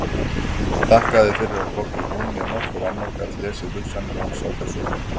Þakkaði fyrir að hvorki hún né nokkur annar gat lesið hugsanir hans á þessu augnabliki.